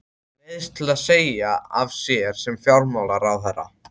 Neyðist til að segja af sér sem fjármálaráðherra.